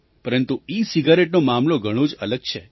પરંતુ ઇસિગારેટનો મામલો ઘણો જ અલગ છે